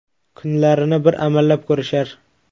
Kunlarini bir amallab ko‘rishar.